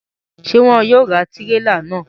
Ṣe wọn yóò ra tirela náà?